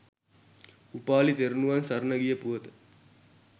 උපාලි තෙරුවන් සරණ ගිය පුවත